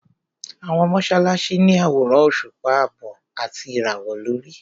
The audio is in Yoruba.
Àwọn mọ́sálásí ní àwòrán òṣùpá àbọ̀ àti ìràwọ̀ lórí.